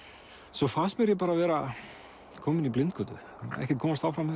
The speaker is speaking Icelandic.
svo fannst mér ég bara vera kominn í blindgötu ekkert komast áfram með